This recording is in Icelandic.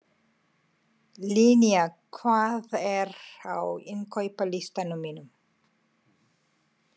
Linnea, hvað er á innkaupalistanum mínum?